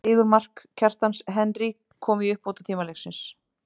Sigurmark, Kjartans Henry kom í uppbótartíma leiksins.